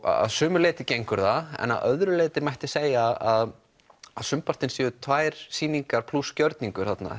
að sumu leyti gengur það en að öðru leyti mætti segja að að sumpartinn séu tvær sýningar plús gjörningur þarna